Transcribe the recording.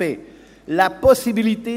Haben Sie es verstanden?